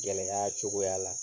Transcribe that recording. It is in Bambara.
Gɛlɛya cogoya la